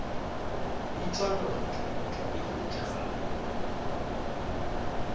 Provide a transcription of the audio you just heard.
bitšwa noto noto e hwetšegala